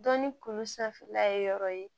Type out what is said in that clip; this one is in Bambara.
Dɔn ni kulu sanfɛla ye yɔrɔ ye